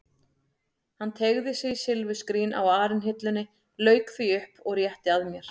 Hann teygði sig í silfurskrín á arinhillunni, lauk því upp og rétti að mér.